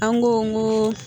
An go n go